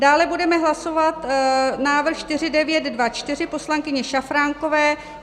Dále budeme hlasovat návrh 4924 poslankyně Šafránkové.